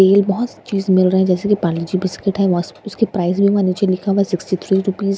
तेल बहुत-सी चीज मिल रहे हैं जैसे की परले-जी- बिस्किट है वस उसके प्राइज भी वहां नीचे लिखा हुआ है सिक्सटी थ्री रूपीज मेगी --